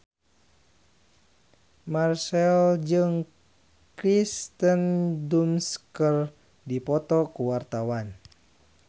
Marchell jeung Kirsten Dunst keur dipoto ku wartawan